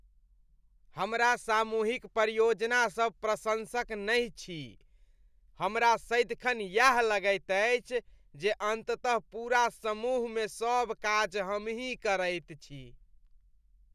हमरा सामूहिक परियोजनासभ प्रशंसक नहि छी , हमरा सदिखन यैह लगैत अछि जे अन्ततः पूरा समूहमे सभ काज हमहि करैत छी।